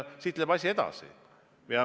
Siit läheb asi edasi.